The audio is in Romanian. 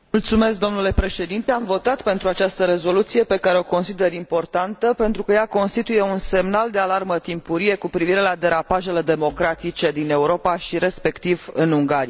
Am votat pentru această rezoluție, pe care o consider importantă, pentru că ea constituie un semnal de alarmă timpurie cu privire la derapajele democratice din Europa și, respectiv, din Ungaria.